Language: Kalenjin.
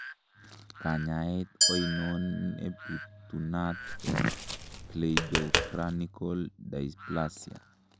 Kanyaet oinon nebitunat en cleidocranial dysplasia?